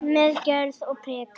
Með gjörð og prik.